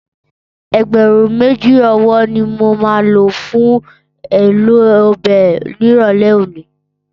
Ẹgbẹ̀rún méjì ọwọ́ ni mo máa lò fún èlò ọbẹ̀ nírọ̀lẹ́ òní.